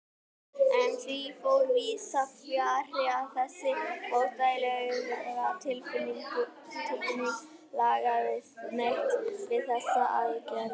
En því fór víðsfjarri að þessi óþægilega tilfinning lagaðist neitt við þessar aðgerðir.